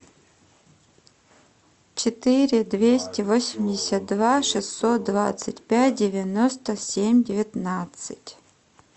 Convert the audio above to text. четыре двести восемьдесят два шестьсот двадцать пять девяносто семь девятнадцать